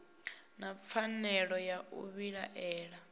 na pfanelo ya u vhilaela